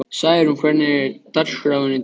Særún, hvernig er dagskráin í dag?